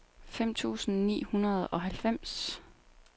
fem tusind ni hundrede og halvfems